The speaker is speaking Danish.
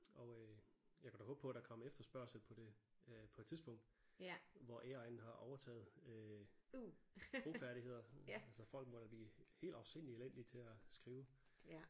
Og øh jeg kunne da håbe på der kom efterspørgsel på det øh på et tidspunkt hvor AI'en har overtaget øh sprogfærdigheder altså folk må da blive helt afsindigt elendige til at skrive